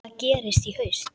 Hvað gerist í haust?